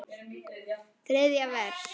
Þriðja vers.